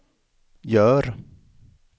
gör